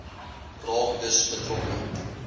raak dus betrokke